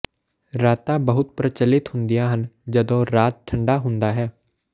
ਰਾਤਾਂ ਬਹੁਤ ਪ੍ਰਚਲਿਤ ਹੁੰਦੀਆਂ ਹਨ ਜਦੋਂ ਰਾਤ ਠੰਡਾ ਹੁੰਦਾ ਹੈ